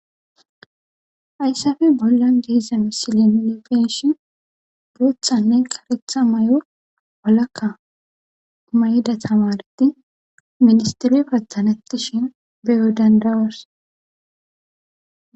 ayssafe bolla giiza misilieilifeshin bothanne qaretha may7o walakka may7da tamareti ministire patthanetti shin beyo dandawars